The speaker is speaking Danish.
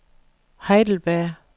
Heidelberg